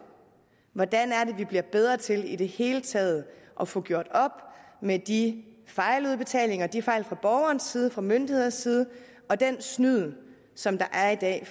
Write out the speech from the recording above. hvordan vi bliver bedre til i det hele taget at få gjort op med de fejludbetalinger de fejl fra borgerens side og fra myndighedens side og den snyd som der er i dag